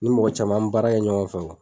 Ni mɔgɔ caman, an mi baara kɛ ɲɔgɔn fɛ